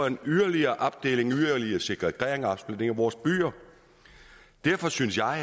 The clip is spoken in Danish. en yderligere segregering og opsplitning af vores byer derfor synes jeg